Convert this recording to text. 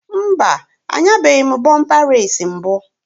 Mba, anyabeghi m bọmpa reesi mbụ